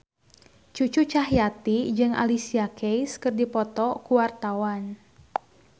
Cucu Cahyati jeung Alicia Keys keur dipoto ku wartawan